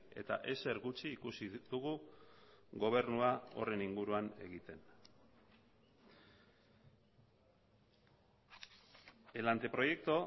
eta ezer gutxi ikusi dugu gobernua horren inguruan egiten el anteproyecto